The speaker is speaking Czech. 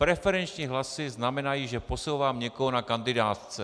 Preferenční hlasy znamenají, že posouvám někoho na kandidátce.